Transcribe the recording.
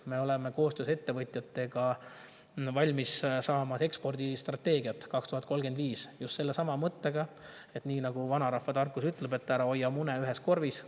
Me oleme koostöös ettevõtjatega valmis saamas ekspordistrateegiat 2035, just sellesama mõttega, nagu vanarahvatarkus ütleb, et ära hoia mune ühes korvis.